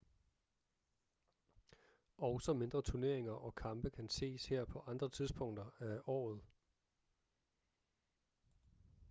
også mindre turneringer og kampe kan ses her på andre tidspunkter af året